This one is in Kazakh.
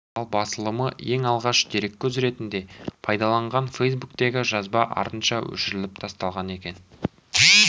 ал басылымы ең алғаш дереккөз ретінде пайдаланған фейсбуктегі жазба артынша өшіріліп тасталған екен